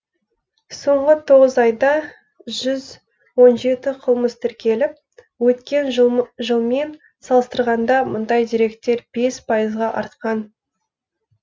соңғы тоғыз айда жүз он жеті қылмыс тіркеліп өткен жылмен салыстырғанда мұндай деректер бес пайызға артқан